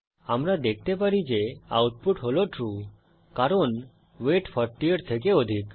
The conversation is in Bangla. আমরা দেখতে পারি যে আউটপুট হল ট্রু কারণ ওয়েট 40 এর থেকে অধিক